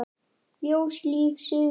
Ljós, líf, sigur.